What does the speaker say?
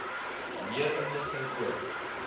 meer inligting oor